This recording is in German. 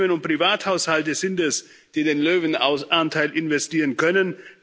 Unternehmen und Privathaushalte sind es, die den Löwenanteil investieren können.